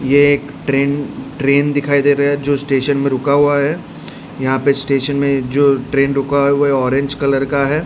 ये एक train train दिखाई दे रहा है जो स्टेशन में रुका हुआ है यहां पे स्टेशन में जो ट्रेन रुका हुआ है वो ऑरेंज कलर का है।